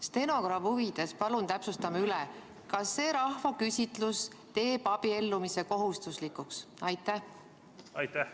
Stenogrammi huvides palun täpsustame üle: kas see rahvaküsitlus teeb abiellumise kohustuslikuks?